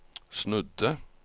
snudde